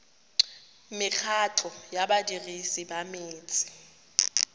mekgatlho ya badirisi ba metsi